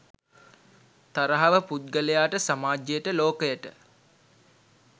තරහව පුද්ගලයාට, සමාජයට, ලෝකයට